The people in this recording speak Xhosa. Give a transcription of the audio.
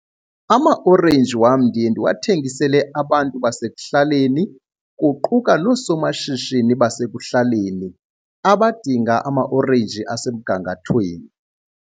Amaorenji wam ndiye ndiwathengisele abantu basekuhlaleni, kuquka noosomashishini basekuhlaleni abadinga amaorenji asemgangathweni.